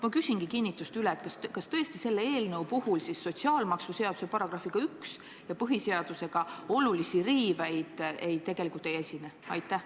Ma küsin kinnituseks üle, et kas tõesti selle eelnõu puhul siis sotsiaalmaksuseaduse § 1 ja põhiseaduse suhtes olulisi riiveid tegelikult ei esine.